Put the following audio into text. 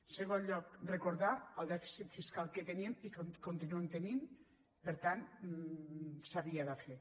en segon lloc recordar el dèficit fiscal que teníem i que continuem tenint per tant s’havia de fer